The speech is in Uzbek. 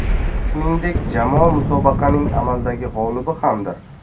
Shuningdek, jamoa musobaqaning amaldagi g‘olibi hamdir.